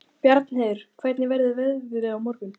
Bjarnheiður, hvernig verður veðrið á morgun?